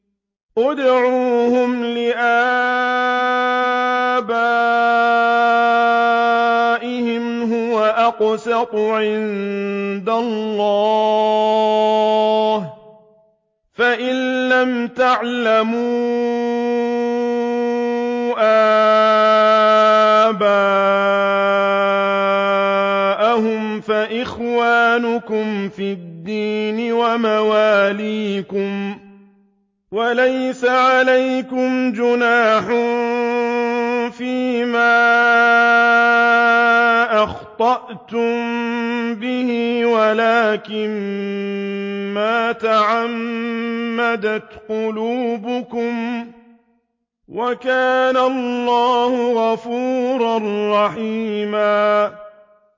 ادْعُوهُمْ لِآبَائِهِمْ هُوَ أَقْسَطُ عِندَ اللَّهِ ۚ فَإِن لَّمْ تَعْلَمُوا آبَاءَهُمْ فَإِخْوَانُكُمْ فِي الدِّينِ وَمَوَالِيكُمْ ۚ وَلَيْسَ عَلَيْكُمْ جُنَاحٌ فِيمَا أَخْطَأْتُم بِهِ وَلَٰكِن مَّا تَعَمَّدَتْ قُلُوبُكُمْ ۚ وَكَانَ اللَّهُ غَفُورًا رَّحِيمًا